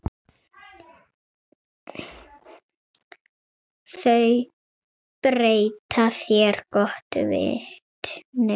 Þau bera þér gott vitni.